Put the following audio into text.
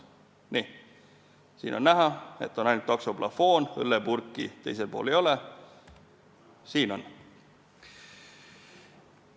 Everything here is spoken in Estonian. Siin on näha, et on ainult taksoplafoon, õllepurki teisel pool ei ole, aga teisel pildil on.